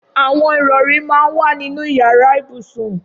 Awọn irọ̀rí mà n wà ninú iyàrà ibúsún